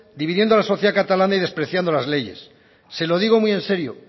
dividiendo a la sociedad catalana y despreciando la leyes se lo digo muy en serio